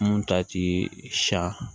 Mun ta ti sa